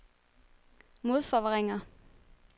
modforvrænger